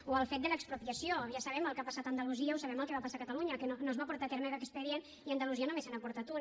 o el fet de l’expropiació ja sabem el que ha passat a andalusia o sabem el que va passar a catalunya que no es va portar a terme cap expedient i a andalusia només se n’ha portat un